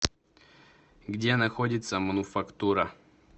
где находится мануфактура